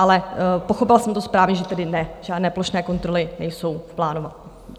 Ale pochopila jsem to správně, že tedy ne, žádné plošné kontroly nejsou v plánu.